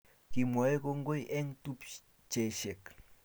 Kimwae kongoi eng tupcheshek